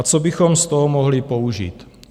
A co bychom z toho mohli použít?